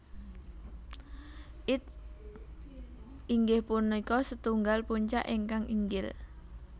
Its inggih punika setunggal puncak ingkang inggil